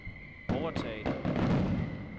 overtaget